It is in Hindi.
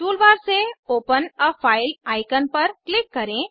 टूलबार से ओपन आ फाइल आईकन पर क्लिक करें